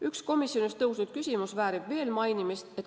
Üks komisjonis tõusnud küsimus väärib veel mainimist.